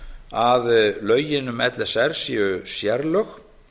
að lögin um l s r séu sérlög